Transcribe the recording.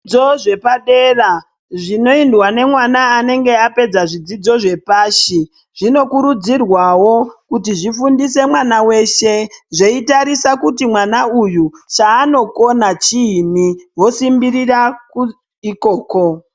Zvidzidzo zvepadera zvinoendwa nemwana anenge apedza zvidzidzo zvepashi zvinokurudzirwawo kuti zvifundise mwana weshe zveitarisa kuti mwana uyu chaanokona chiini vosimbirira ikoko.